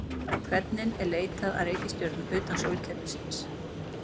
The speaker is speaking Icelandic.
Hvernig er leitað að reikistjörnum utan sólkerfisins?